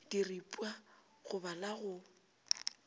diripwa go ba la go